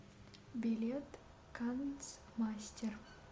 билет канцмастер